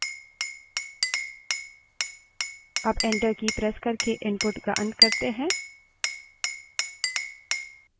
जो भी हम type करते हैं वो file में लिखा जाता है तो कुछ text type करें